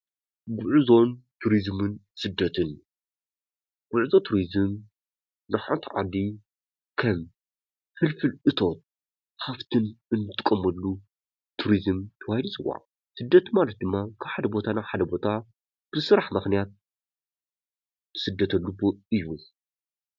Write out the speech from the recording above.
ጉዕዞን ቱሪዝምን ስደትን፡- ጉዕዞ ቱሪዝም ንሓንቲ ዓዲ ከም ፍልፍል እቶት ሃፍትን እንጥቀመሉ ቱሪዝም ተባሂሉ ይፅዋዕ፡፡ ስደት ማለት ድማ ካብ ሓደ ቦታ ናብ ሓደ ቦታ ብስራሕ ምክንያት እትስደተሉ እዩ፡፡